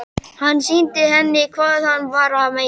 Hann sýndi henni hvað hann var að meina.